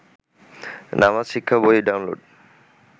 নামাজ শিক্ষা বই ডাউনলোড